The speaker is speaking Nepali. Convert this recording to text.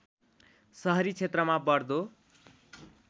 सहरी क्षेत्रमा बढ्दो